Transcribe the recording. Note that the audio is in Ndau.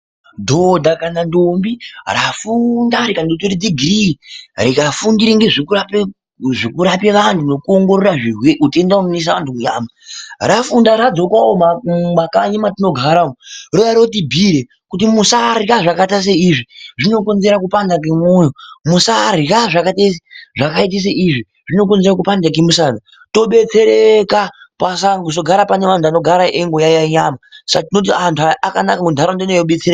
Dhoda kana ndombi rafunda rikatora dhigirii rikafundira nezvekurapa antu nekuongorora utenda unoisa vantu muunyama, rafunda radzoka mumakanyi matinogara rouya rotibhiira kuti musarya zvakaita seizvi zvinokonzera kupanda kwemwoyo, musarya zvakaita seizvi zvinokonzera kupanda kwemusana tobetsereka pasazogara panevantu vanogaraeiyaiya nedenda .Saka tinoti antu aya akanaka ,nharaunda inouya ichidetsereka.